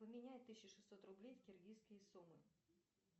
поменяй тысяча шестьсот рублей в киргизские сумы